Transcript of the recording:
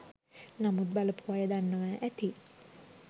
නමුත් බලපු අය දන්නව ඇති